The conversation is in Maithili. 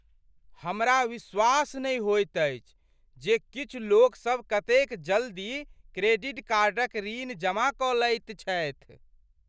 हमरा विश्वास नहि होइत अछि जे किछु लोकसभ कतेक जल्दी क्रेडिट कार्डक ऋण जमा कऽ लैत छथि।